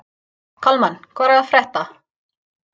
Kalmann, hvað er að frétta?